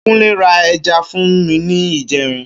Kúnlé ra ẹja fún mi ní ìjẹrin.